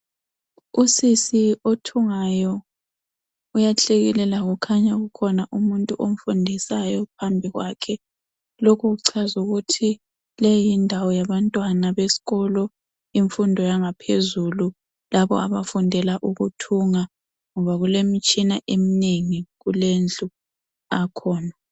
Usisi othungayo uyahlekelela kukhanya kukhona umuntu omfundisayo phambi kwakhe, lokhu kuchaza ukuthi leyi yindawo yabantwana besikolo imfundo yangaphezulu labo abafundela ukuthunga ngoba kule mitshina emnengi kulendlu akhona.